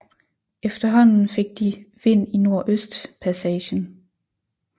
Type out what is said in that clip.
Efterhånden fik de vind i nordøstpassagen